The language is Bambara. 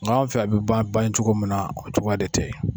Nga fɛ a be bancogo min na o cogoya de tɛ